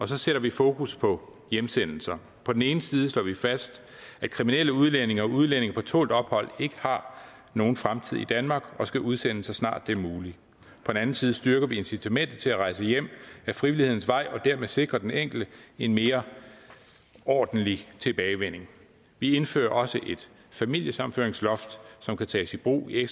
så sætter vi fokus på hjemsendelser på den ene side slår vi fast at kriminelle udlændinge og udlændinge på tålt ophold ikke har nogen fremtid i danmark og skal udsendes så snart det er muligt på den anden side styrker vi incitamentet til at rejse hjem ad frivillighedens vej og dermed sikre den enkelte en mere ordentlig tilbagevending vi indfører også et familiesammenføringsloft som kan tages i brug i